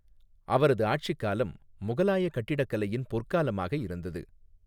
அவரது ஆட்சிக்காலம் முகலாய கட்டிடக்கலையின் பொற்காலமாக இருந்தது.